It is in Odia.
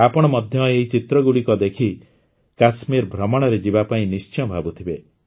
ଆପଣ ମଧ୍ୟ ଏହି ଚିତ୍ରଗୁଡ଼ିକୁ ଦେଖି କାଶ୍ମୀର ଭ୍ରମଣରେ ଯିବା ପାଇଁ ନିଶ୍ଚୟ ଭାବୁଥିବେ